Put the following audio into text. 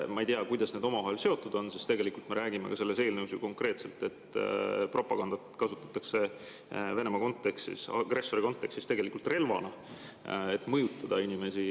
Ma ei tea, kuidas need omavahel seotud on, sest tegelikult me räägime ka selles eelnõus ju konkreetselt, et propagandat kasutatakse Venemaa kontekstis, agressori kontekstis tegelikult relvana, et mõjutada inimesi.